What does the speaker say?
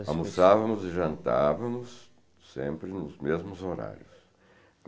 Almoçávamos e jantávamos sempre nos mesmos horários.